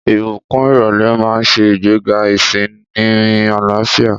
Ìbùkún ìrọ̀lẹ́ máa ń ṣe ìgbéga ìsinmi àlàáfíà.